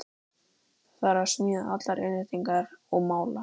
Það þarf að smíða allar innréttingar og mála.